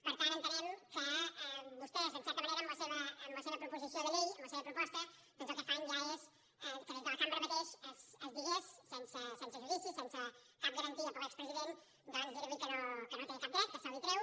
per tant entenem que vostès en certa manera amb la seva proposició de llei amb la seva proposta doncs el que fan ja és que des de la cambra mateix es digui sense judici sense cap garantia per a l’expresident doncs que no té cap dret que se l’hi treu